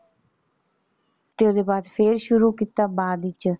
ਤੇ ਓਹਦੇ ਬਾਅਦ ਫੇਰ ਸ਼ੁਰੂ ਕੀਤਾ ਬਾਅਦ ਵਿੱਚ।